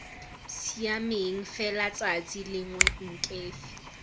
siameng fela tsatsi lengwe nkefi